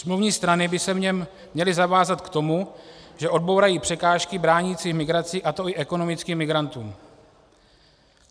Smluvní strany by se v něm měly zavázat k tomu, že odbourají překážky bránící migraci, a to i ekonomickým migrantům.